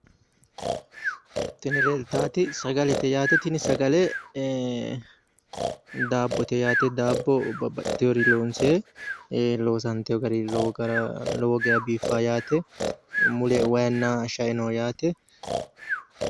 Tini leeltaati sagalete yaate. Tini sagale daabbote yaate. Daabbo babbaxiworii loonsoyi. Loosantiwo gari lowo geeya biiffawo yaate. Mule wayinna shae no yaate.